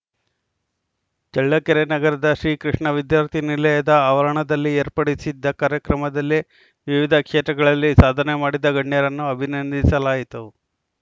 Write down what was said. ಚಳ್ಳಕೆರೆ ನಗರದ ಶ್ರೀಕೃಷ್ಣ ವಿದ್ಯಾರ್ಥಿ ನಿಲಯದ ಆವರಣದಲ್ಲಿ ಏರ್ಪಡಿಸಿದ್ದ ಕಾರ್ಯಕ್ರಮದಲ್ಲಿ ವಿವಿಧ ಕ್ಷೇತ್ರದಲ್ಲಿ ಸಾಧನೆ ಮಾಡಿದ ಗಣ್ಯರನ್ನು ಅಭಿನಂದಿಸಲಾಯಿತು